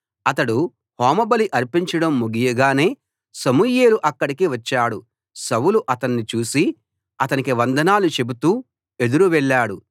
అతడు హోమబలి అర్పించడం ముగియగానే సమూయేలు అక్కడికి వచ్చాడు సౌలు అతణ్ణి చూసి అతనికి వందనాలు చెబుతూ ఎదురు వెళ్ళాడు